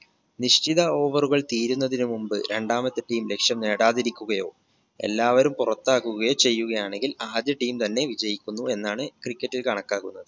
നിശ്ചിത over റുകൾ തീരുന്നതിന് മുമ്പ് രണ്ടാമത്തെ team ലക്‌ഷ്യം നേടാതിരിക്കുകയോ എല്ലാവരും പുറത്താകുകയോ ചെയ്യുകയാണെങ്കിൽ ആദ്യ team തന്നെ വിജയിക്കുന്നു എന്നാണ് cricket ൽ കണക്കാക്കുന്നത്